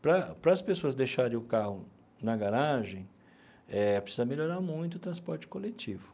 Para para as pessoas deixarem o carro na garagem eh, precisa melhorar muito o transporte coletivo.